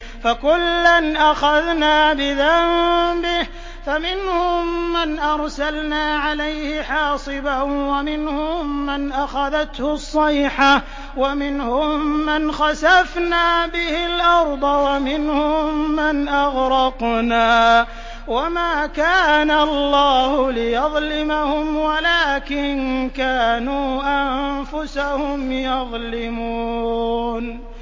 فَكُلًّا أَخَذْنَا بِذَنبِهِ ۖ فَمِنْهُم مَّنْ أَرْسَلْنَا عَلَيْهِ حَاصِبًا وَمِنْهُم مَّنْ أَخَذَتْهُ الصَّيْحَةُ وَمِنْهُم مَّنْ خَسَفْنَا بِهِ الْأَرْضَ وَمِنْهُم مَّنْ أَغْرَقْنَا ۚ وَمَا كَانَ اللَّهُ لِيَظْلِمَهُمْ وَلَٰكِن كَانُوا أَنفُسَهُمْ يَظْلِمُونَ